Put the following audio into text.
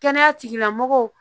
Kɛnɛya tigilamɔgɔw